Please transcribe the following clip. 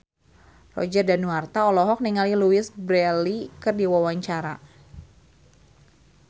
Roger Danuarta olohok ningali Louise Brealey keur diwawancara